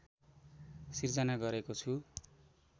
सृजना गरेको छु